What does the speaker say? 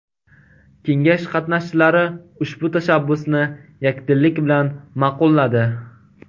Kengash qatnashchilari ushbu tashabbusni yakdillik bilan ma’qulladi.